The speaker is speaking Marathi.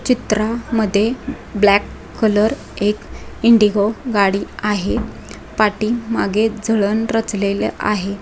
चित्रा मध्ये ब्लैक कलर एक इंडिगो गाडी आहे पाठीमाघे जळण रचलेल आहे.